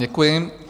Děkuji.